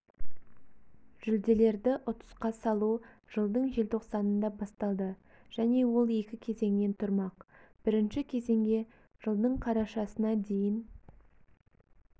жүлделерді ұтысқа салу жылдың желтоқсанында басталды және ол екі кезеңнен тұрмақ бірінші кезеңге жылдың қарашасына дейін